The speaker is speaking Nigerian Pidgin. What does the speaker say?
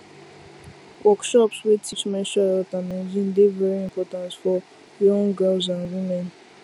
workshops wey teach menstrual health and hygiene dey very important for young girls and women